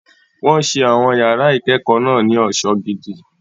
Wọ́n ṣe àwọn yàrá ìkẹ́kọ̀ọ́ náà ní ọ̀ṣọ́ gidi.